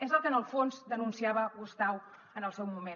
és el que en el fons denunciava gustau en el seu moment